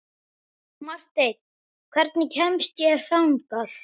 Marten, hvernig kemst ég þangað?